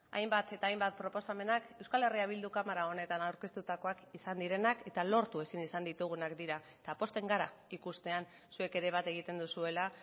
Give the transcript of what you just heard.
hainbat eta hainbat proposamenak euskal herria bilduk kamara honetan aurkeztutakoak izan direnak eta lortu ezin izan ditugunak dira eta pozten gara ikustean zuek ere bat egiten duzuela